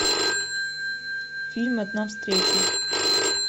фильм одна встреча